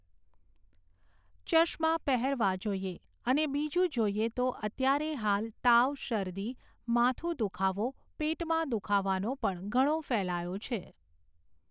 ચશ્મા પહેરવા જોઈએ, અને બીજું જોઈએ તો અત્યારે હાલ તાવ, શરદી, માથાનો દુઃખાવો, પેટમાં દુઃખાવાનો પણ ઘણો ફેલાવો છે